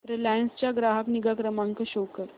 Reliance चा ग्राहक निगा क्रमांक शो कर